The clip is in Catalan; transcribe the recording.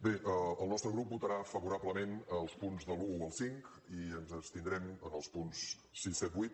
bé el nostre grup votarà favorablement als punts de l’un al cinc i ens abstindrem en els punts sis set vuit